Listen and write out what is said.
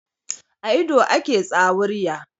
A ido ake tsawurya.